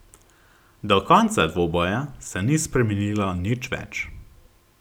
Do konca dvoboja se ni spremenilo nič več.